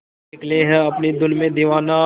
निकले है अपनी धुन में दीवाना